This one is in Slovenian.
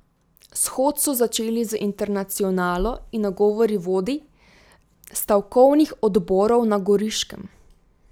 Shod so začeli z Internacionalo in nagovori vodij stavkovnih odborov na Goriškem.